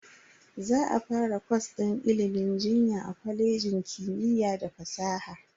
Za a fara kwas din ilimin jinya a kwalejin kimiyya da fasaha.